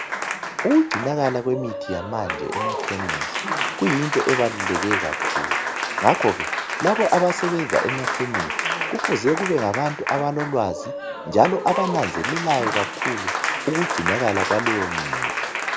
Ukugcinakala kwemithi yamanje emakhemisi kuyinto ebaluleke kakhulu ngakho ke labo abasebenza emakhemisi kufuze kubengabantu abalolwazi njalo abananzelelayo kakhulu ukugcinakala kwaleyo mithi